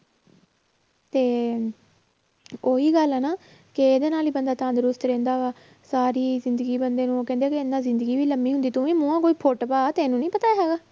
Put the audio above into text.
ਤੇ ਉਹੀ ਗੱਲ ਹੈ ਨਾ ਕਿ ਇਹਦੇ ਨਾਲ ਹੀ ਬੰਦਾ ਤੰਦਰੁਸਤ ਰਹਿੰਦਾ ਵਾ ਸਾਰੀ ਜ਼ਿੰਦਗੀ ਬੰਦੇ ਨੂੰ ਉਹ ਕਹਿੰਦੇ ਆ ਕਿ ਇੰਨਾ ਜ਼ਿੰਦਗੀ ਨੀ ਲੰਮੀ ਹੁੰਦੀ, ਤੂੰ ਵੀ ਮੂੰਹੋਂ ਕੋਈ ਫੁੱਟ ਪਾ ਤੈਨੂੰ ਨੀ ਪਤਾ ਹੈਗਾ